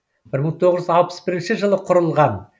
бір мың тоғыз жүз алпыс бірінші жылы құрылған